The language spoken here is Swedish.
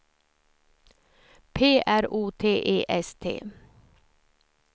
P R O T E S T